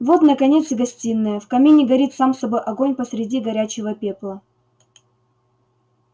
вот наконец и гостиная в камине горит сам собой огонь посреди горячего пепла